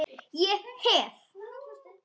Ég hef.